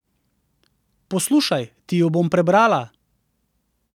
Poslušaj, ti ju bom prebrala.